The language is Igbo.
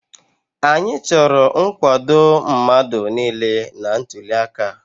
Anyị chọrọ nkwado mmadụ niile na ntuliaka a.